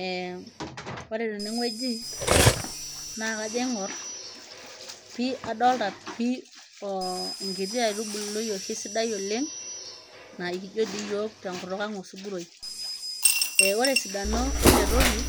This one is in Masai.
ee ore teneng'ueji naa kajo aing'orr pii adolta pii oh nkiti aitubului oshi sidai oleng naa ikijo dii iyiok tenkutuk ang osuguroi e ore esidano ele toki